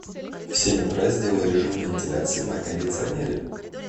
в семь утра сделай режим вентиляции на кондиционере